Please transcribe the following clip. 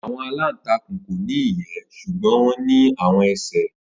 Awọn alantakun ko ni iyẹ ṣugbọn wọn ni awọn ẹsẹ.